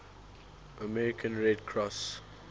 american red cross